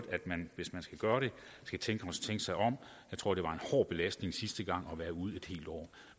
at man hvis man skal gøre det skal tænke sig om jeg tror det var en hård belastning sidste gang at være ude et helt år